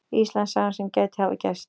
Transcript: Íslandssagan sem gæti hafa gerst.